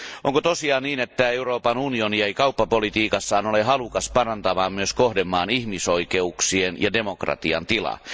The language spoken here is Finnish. Onko tosiaan niin, että Euroopan unioni ei kauppapolitiikassaan ole halukas parantamaan myös kohdemaan ihmisoikeuksien ja demokratian tilaa?